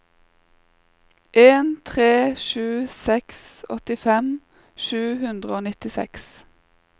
en tre sju seks åttifem sju hundre og nittiseks